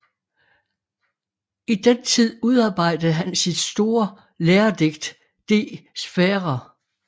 I den tid udarbejdede han sit store læredigt De sphaera